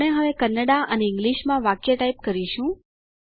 આપણે હવે કન્નડા અને ઈંગ્લીશમાં વાક્ય ટાઈપ કરીશું